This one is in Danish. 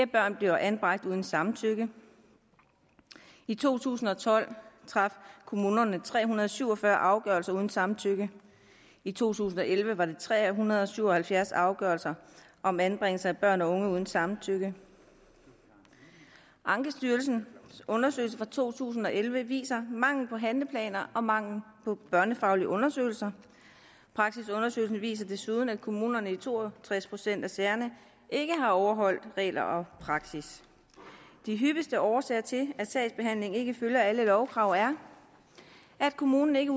børn bliver anbragt uden samtykke i to tusind og tolv traf kommunerne tre hundrede og syv og fyrre afgørelser uden samtykke i to tusind og elleve var det tre hundrede og syv og halvfjerds afgørelser om anbringelse af børn og unge uden samtykke ankestyrelsens undersøgelse fra to tusind og elleve viser mangel på handleplaner og mangel på børnefaglige undersøgelser praksisundersøgelsen viser desuden at kommunerne i to og tres procent af sagerne ikke har overholdt regler og praksis de hyppigste årsager til at sagsbehandlingen ikke følger alle lovkrav er at kommunen ikke